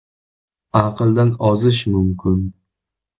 “Aqldan ozish mumkin.